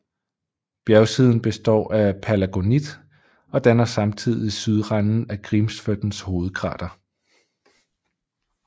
Bjergsiden består af palagonit og danner samtidig sydranden af Grímsvötns hovedkrater